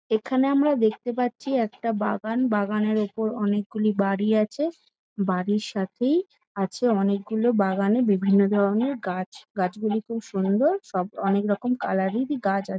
এখানে আমরা দেখতে পারছি একটা বাগান। বাগানের উপর অনেক গুলি বাড়ি আছে। বাড়ির সাথেই আছে অনেক গুলো বাগানে বিভিন্ন ধরণের গাছ। গাছ গুলি খুব সুন্দর। সব অনেক রকম কালার এরই গাছ আছ --